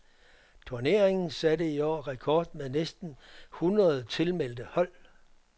Turneringen satte i år rekord med næsten hundrede tilmeldte hold.